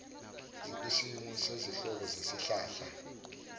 zikwisimo sezinhlobo zesihlahla